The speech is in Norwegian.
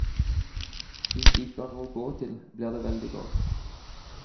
Hvis de ikke har noe å gå til blir det veldig galt.